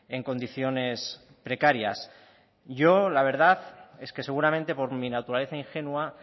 en condiciones precarias yo la verdad es que seguramente por mi naturaleza ingenua